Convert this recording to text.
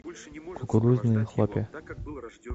кукурузные хлопья